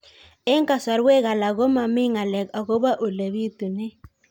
Eng' kasarwek alak ko mami ng'alek akopo ole pitunee